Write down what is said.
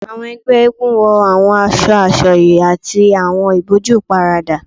Awọn ẹgbẹ Masquerade wọ awọn aṣọ asọye ati awọn iboju iparada